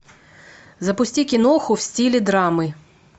запусти киноху в стиле драмы